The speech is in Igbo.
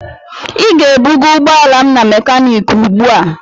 Ị ga-ebuga ụgbọala m na mekaniiki ugbu a!